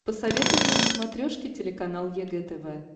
посоветуй мне на смотрешке телеканал егэ тв